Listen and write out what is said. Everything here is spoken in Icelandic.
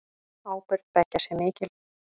Ábyrgð beggja sé mikil.